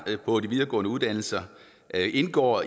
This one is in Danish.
på de videregående uddannelser indgår